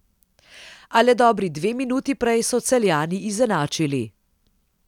A le dobri dve minuti prej so Celjani izenačili.